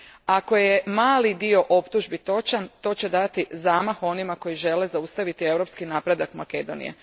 Ako je mali dio optužbi točan to će dati zamah onima koji žele zaustaviti europski napredak Makedonije.